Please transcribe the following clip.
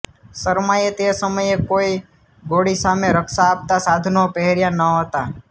શર્માએ તે સમયે કોઇ ગોળી સામે રક્ષા આપતા સાધનો પહેર્યાં નહોતા